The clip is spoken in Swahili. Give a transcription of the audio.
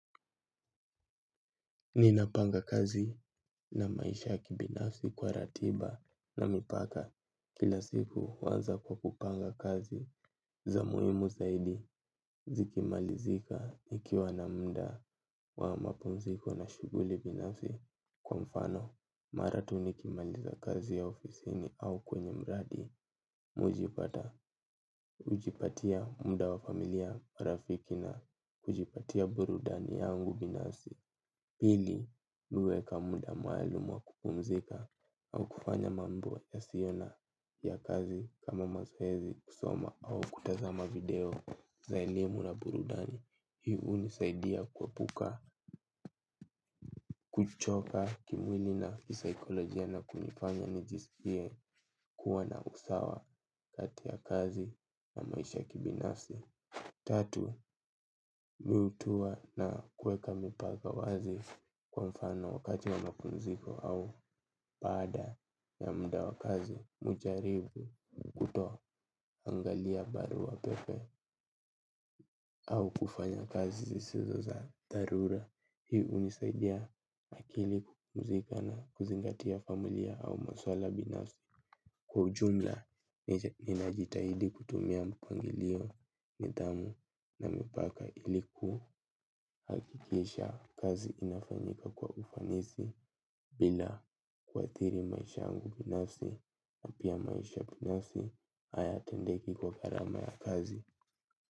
Ninapanga kazi na maisha ya kibinafsi kwa ratiba na mipaka kila siku huanza kwa kupanga kazi za muhimu zaidi zikimalizika nikiwa na muda wa mapumziko na shughuli binafsi kwa mfano. Mara tu nikimaliza kazi ya ofisini au kwenye mradi mujipata, hujipatia muda wa familia rafiki na hujipatia burudani yangu binafsi. Pili, mimi huweka muda maalumu wa kupumzika au kufanya mambo yasio na ya kazi kama mazoezi kusoma au kutazama video za elimu na burudani. Hii unisaidia kuepuka, kuchoka kimwili na kisaikolojia na kunifanya nijisikie kuwa na usawa kati ya kazi na maisha ya kibinafsi. Tatu, miutua na kuweka mipaka wazi kwa mfano kati ya mapumziko au baada ya muda wa kazi hujaribu kutoangalia barua pepe au kufanya kazi zisizo za dharura. Hii unisaidia akili kukuzika na kuzingatia familia au maswala binafsi. Kwa ujumla, ninajitahidi kutumia mpangilio nidhamu na mipaka ili ku hakikisha kazi inafanyika kwa ufanisi bila kuathiri maisha yangu binafsi na pia maisha binafsi hayatendeki kwa gharama ya kazi.